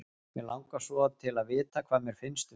Mig langar svo til að vita hvað þér finnst um mig.